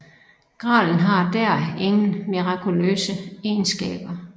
Gralen har dér ingen mirakuløse egenskaber